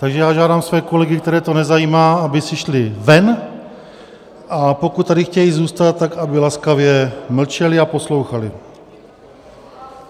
Takže já žádám své kolegy, které to nezajímá, aby si šli ven, a pokud tady chtějí zůstat, tak aby laskavě mlčeli a poslouchali.